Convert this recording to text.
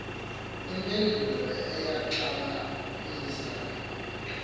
impendulo eyaxabanisa ungxabane